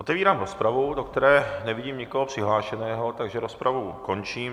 Otevírám rozpravu, do které nevidím nikoho přihlášeného, takže rozpravu končím.